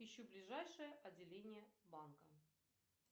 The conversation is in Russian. ищу ближайшее отделение банка